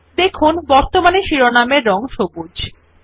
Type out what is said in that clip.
দেখুন বর্তমানে শিরোনাম এর রং সবুজ